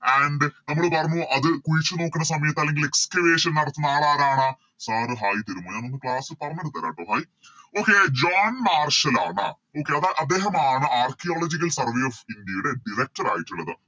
And നമ്മള് പറഞ്ഞു അത് കുഴിച്ചു നോക്കുന്ന സമയത്ത് അല്ലെങ്കില് Excavation നടത്തുന്ന ആളാരാണ് Sir hair തരുമോ ഞാനൊന്ന് Class പറഞ്ഞിട്ട് തരാട്ടോ Hai okay ജോൺ മാർസലാണ് Okay അത് അദ്ദേഹമാണ് Archaeological survey of india യുടെ Director ആയിട്ടുള്ളത്